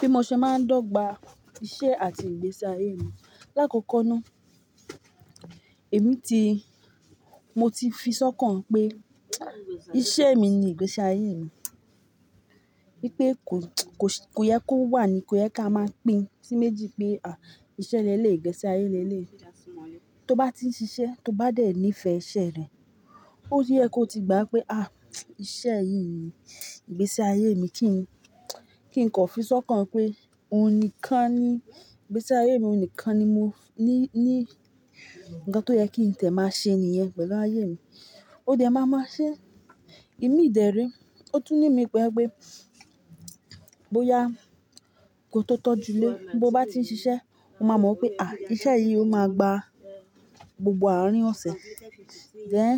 Bí mo ṣe máa ń dọ́gba iṣẹ́ àti ìgbésí ayé mi. Láàkókó náà, èmi ti-- mo ti fi sọ́kàn pé iṣẹ́ mi ni ìgbésí ayé mi. Wípé kò, kò, kò yẹ kó wà ni kò yẹ ká máa pín sí méjì pé à íṣẹ́ lẹ́lẹ̀, ìgbésí ayé lẹ́lẹ̀. Tó bá ti ń ṣiṣẹ́, tó bá dẹ̀ ní ìfẹ́ iṣẹ́ rẹ̀, ó yẹ kó ti gbà pé à íṣẹ́ yìí ni ìgbésí ayé mi kí n, kí n kọ́ fi sọ́kàn pé òun nìkan ni ìgbésí ayé mi, òun nìkan ni mo ní, ní ń kan tó yẹ kí ǹtẹ́ máa ṣe nìyẹn pẹ̀lú ayé mi. Ó dẹ máa máa ṣe. Ìmí ìdẹ̀rí, ó tún ní mi pẹ́ pé bóyá kò tó tọ́ julé, bó bá ti ń ṣiṣẹ́, o máa mọ̀ pé à ìṣe yìí ò máa gba gbogbo àárín ọ̀sẹ̀. Ṣé ẹ́,